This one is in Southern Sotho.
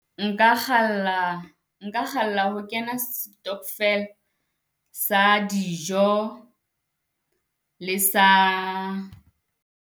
Nka kgalla, nka kgalla ho kena stockvel sa dijo le sa.